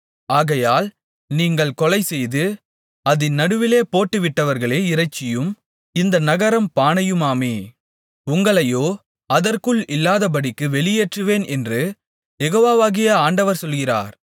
ஆகையால் நீங்கள் கொலைசெய்து அதின் நடுவிலே போட்டுவிட்டவர்களே இறைச்சியும் இந்த நகரம் பானையுமாமே உங்களையோ அதற்குள் இல்லாதபடிக்குப் வெளியேற்றுவேன் என்று யெகோவாகிய ஆண்டவர் சொல்லுகிறார்